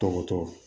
Tɔgɔtɔ